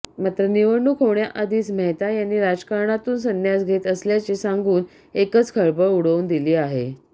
मात्र निवडणूक होण्याआधीच मेहता यांनी राजकारणातून सन्यास घेत असल्याचे सांगून एकच खळबळ उडवून दिली आहे